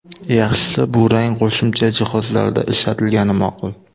Yaxshisi, bu rang qo‘shimcha jihozlarda ishlatilgani ma’qul.